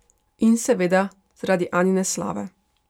In, seveda, zaradi Anine slave.